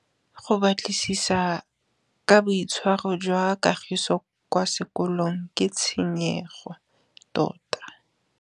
Go batlisisa ka boitshwaro jwa Kagiso kwa sekolong ke tshikinyêgô tota.